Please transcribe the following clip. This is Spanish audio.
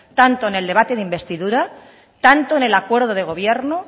tanto en el debate de investidura tanto en el acuerdo de gobierno